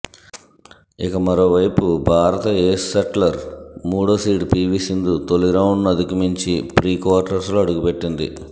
ఇక మరో వైపు భారత ఏస్ షెట్లర్ మూడో సీడ్ పీవీ సింధు తొలి రౌండ్ను అధిగమించి ప్రీక్వార్టర్స్లో అడుగుపెట్టింది